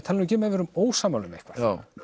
tala nú ekki um ef við erum ósammála um eitthvað